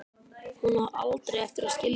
Hún á aldrei eftir að skilja það.